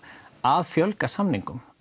að fjölga samningum